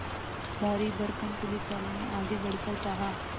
भारीभरकम पुलिसवाले ने आगे बढ़कर कहा